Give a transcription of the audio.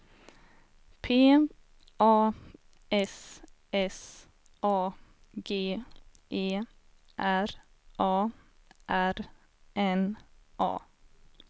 P A S S A G E R A R N A